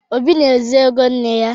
Obi na-ezu ego nne ya.